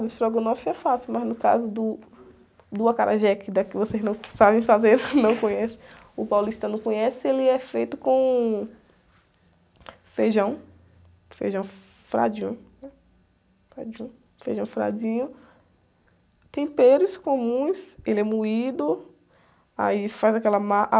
Do estrogonofe é fácil, mas no caso do, do acarajé, que daqui, vocês não sabem fazer, não conhecem, o paulistano não conhece, ele é feito com feijão, feijão fradinho, fradinho, temperos comuns, ele é moído, aí faz aquela massa,